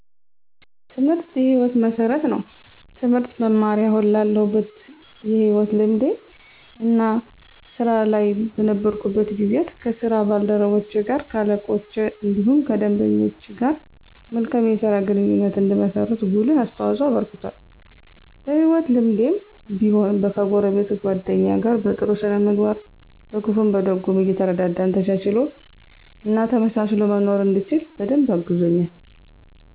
ትምህርት የ ህይወት መሠረት ነው። ትምህርት መማሬ አሁን ላለሁበት የህይወት ልምዴ እና ስራ ላይ በነበርኩበት ጊዜያት ከ ስራ ባልደረቼ ,ከ አለቆቼ እንዲሁም ከደንበኞች ጋር መልካም የስራ ግንኙነት እንድመሰርት ጉልህ አስተዋፅኦ አበርክቷል። በ ህይወት ልምዴም ቢሆን ከጎረቤት ,ጎደኛ ጋር በ ጥሩ ስነ ምግባር በክፉም በደጉም እየተረዳዳን ተቻችሎ እና ተመሳስሎ መኖርን እንድችል በደንብ አግዞኛል።